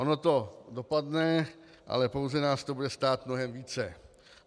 Ono to dopadne, ale pouze nás to bude stát mnohem více.